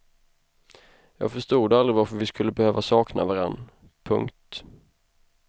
Jag förstod aldrig varför vi skulle behöva sakna varann. punkt